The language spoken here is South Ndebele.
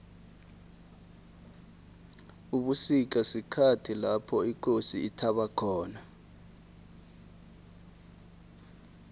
ubusika sikhathi lapho ikosi ithaba khona